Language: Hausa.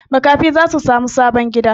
Makafi za su sami sabon gida.